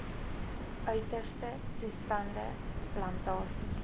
uiterste toestande plantasies